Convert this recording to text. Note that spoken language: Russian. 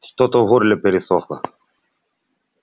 что-то в горле пересохло